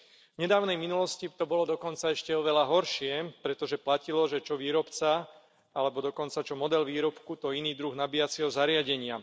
V nedávnej minulosti to bolo dokonca ešte oveľa horšie, pretože platilo, že čo výrobca, alebo dokonca čo model výrobku, to iný druh nabíjacieho zariadenia.